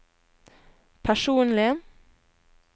personlig